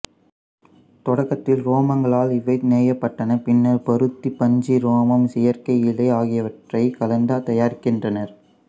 தொடக்கத்தில் உரோமங்களால் இவை நெய்யப்பட்டன பின்னர் பருத்திப் பஞ்சு ரோமம் செயற்கை இழை ஆகியவற்றை கலந்து தயாரிக்கின்றனர்